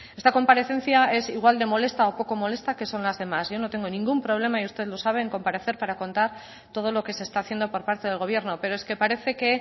esta comparecencia es igual de molesta o poco molesta que son las demás yo no tengo ningún problema y usted lo sabe en comparecer para contar todo lo que se está haciendo por parte del gobierno pero es que parece que